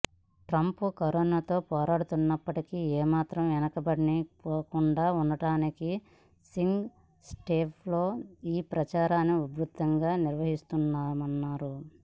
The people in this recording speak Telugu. ట్రంప్ కరోనాతో పోరాడుతున్నప్పటికీ ఏ మాత్రం వెనుకబడి పోకుండా ఉండడానికి స్వింగ్ స్టేట్స్లో ఈ ప్రచారాన్ని ఉధృతంగా నిర్వహించనున్నారు